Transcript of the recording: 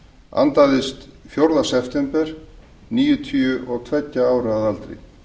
andaðist fjórða september níutíu og tveggja ára að aldri